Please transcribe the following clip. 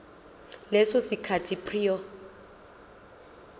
leso sikhathi prior